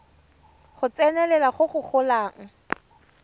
go tsenelela go go golang